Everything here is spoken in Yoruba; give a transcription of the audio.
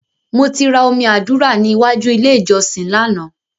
Mo ti ra omi àdúrà ní ìwájú ilé ìjọsìn lánàá.